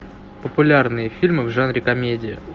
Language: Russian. популярные фильмы в жанре комедия